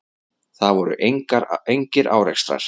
Það voru engir árekstrar.